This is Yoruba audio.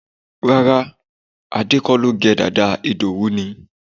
Rárá, Ade kọ́ ló gẹ dàda, Idowu ni